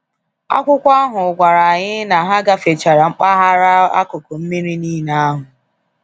Akwụkwọ ahụ gwara anyị na ha gafechara mpaghara akụkụ mmiri niile ahụ.